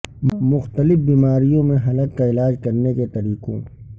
مختلف بیماریوں میں حلق کا علاج کرنے کے طریقوں